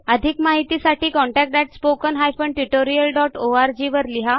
अधिक माहीतीसाठी contactspoken tutorialorg ला लिहा